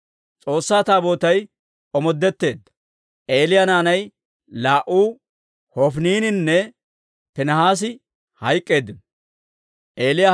S'oossaa Taabootay omoodetteedda; Eeliya naanay laa"u, Hofiniininne Piinihaasi hayk'k'eeddino.